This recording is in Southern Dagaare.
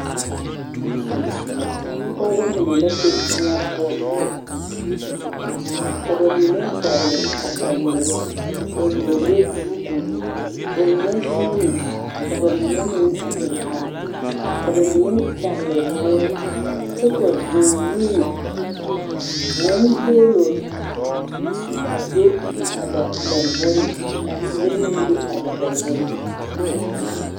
Lɔɔre are la a sori poɔ ka ba wuo boma dɔgle ko dɔgle dɔgle ko pa a do saazu lɛ teɛ puuri be la a lɔre nimitoore a lɔɔre gbɛɛ mine yi lee la.